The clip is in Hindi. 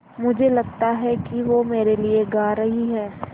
मुझे लगता है कि वो मेरे लिये गा रहीं हैँ